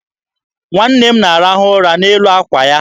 Nwa m na-arahụ ụra n'elu àkwà ya.